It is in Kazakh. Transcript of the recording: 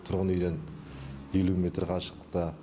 тұрғын үйден елу метр қашықтықта